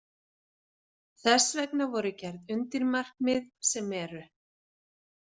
Þess vegna voru gerð undirmarkmið, sem eru.